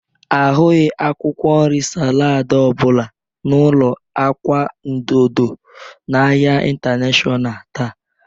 A hụghị akwụkwọ nri salaadị ọbụla n'ulọ agwa odo odo n'ahịa intanashọnal taa.